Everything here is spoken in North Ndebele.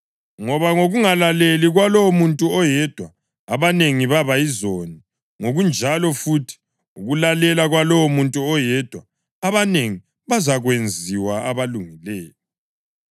Ngoba ngokungalaleli kwalowomuntu oyedwa abanengi baba yizoni, ngokunjalo futhi ukulalela kwalowomuntu oyedwa abanengi bazakwenziwa abalungileyo.